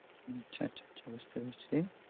আচ্ছা আচ্ছা বুঝতে পারছি